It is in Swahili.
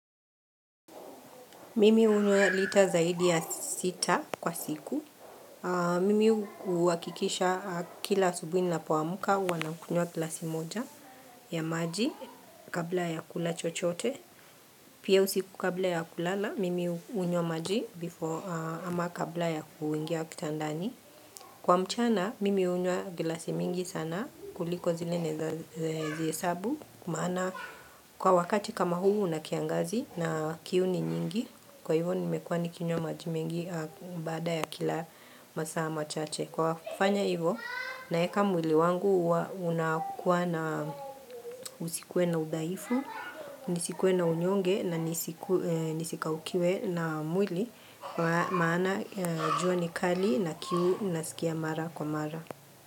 Mimi hunwa lita zaidi ya sita kwa siku. Mimi huhakikisha kila asubuhi ninapoamka huwa nakunywa glasi moja ya maji kabla ya kula chochote. Pia usiku kabla ya kulala, mimi hunwya maji ama kabla ya kuingia kitandani. Kwa mchana, mimi hunywa glasi mingi sana kuliko zile naweza zihesabu. Kwa wakati kama huu unakiangazi na kiu ni nyingi Kwa hivo nimekuwa nikinywo maji mengi bada ya kila masaa machache Kwa kufanya hivyo na weka mwili wangu unakuwa na usikuwe na udhaifu Nisikuwe na unyonge na nisikaukiwe na mwili Kwa maana jua ni kali na kiu nasikia mara kwa mara.